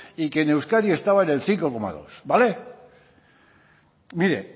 y que en euskadi estaba cinco coma dos vale mire